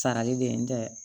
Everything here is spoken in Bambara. Sarali be yen n tɛ